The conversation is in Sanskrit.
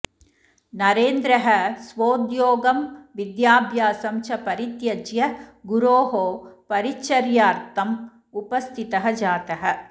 नरेन्द्रः स्वोद्योगं विद्याभ्यासं च परित्यज्य गुरोः परिचर्यार्थम् उपस्थितः जातः